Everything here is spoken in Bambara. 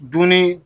Dunni